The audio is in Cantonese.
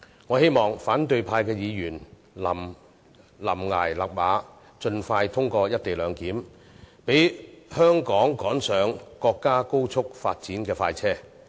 我希望反對派議員臨崖勒馬，盡快通過《條例草案》，讓香港趕上國家高速發展的快車。